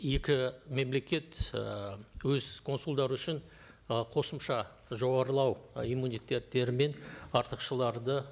екі мемлекет і өз консулдары үшін ы қосымша жоғарылау иммунитеттері мен